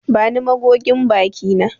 Bani magogin baki na.